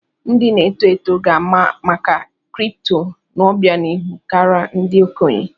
Ndị na-eto eto ga-ama maka kripto n'obianihu kara ndị okenye.